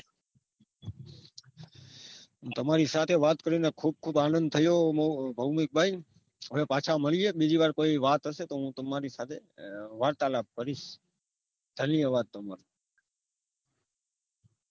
તમાંરી સાથે વાત કરીને ખુબ ખુબ આંનંદ થયો ભોમિક ભાઈ હવે પાછા મળીયે બીજી વાર પહી વાત હશે તો હું તમારી સાથે વાર્તાલાપ કરીશ ધન્યવાદ તમારો